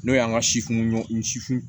N'o y'an ka sifin ɲɔ si fin